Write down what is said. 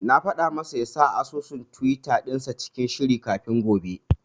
Na faɗa masa ya sanya asusun tiwita dinsa cikin shiri kafin gobe.